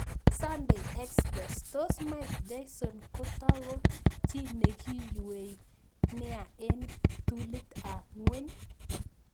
(Sunday Express) Tos Mike Tyson kotoko 'chi nikiyuei' nea eng ptulit ab ngweny?